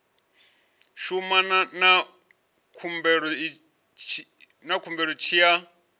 shumana na khumbelo tshi ya